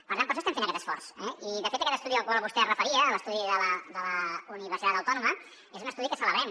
per tant per això estem fent aquest esforç eh i de fet aquest estudi al qual vostè es referia l’estudi de la universitat autònoma és un estudi que celebrem